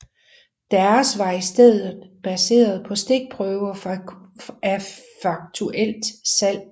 Deres var i stedet baseret på stikprøver af faktuelt salg